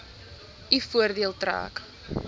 u voordeel trek